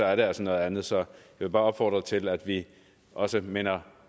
er det altså noget andet så jeg vil bare opfordre til at vi også minder